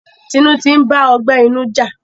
Tinu ntì ba ọgbẹ inu ja.